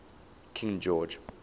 king george